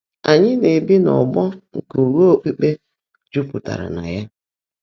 Ányị́ ná-èbí n’ọ́gbọ́ nkè ụ́ghá ókpukpé jụ́pụtáárá ná yá.